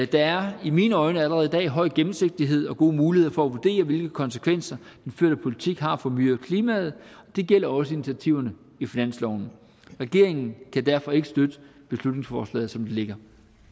der er i mine øjne allerede i dag høj gennemsigtighed og gode muligheder for at vurdere hvilke konsekvenser den førte politik har for miljøet og klimaet og det gælder også initiativerne i finansloven regeringen kan derfor ikke støtte beslutningsforslaget som det ligger